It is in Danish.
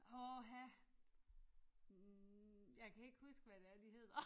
Åha. Jeg kan ikke huske hvad det er de hedder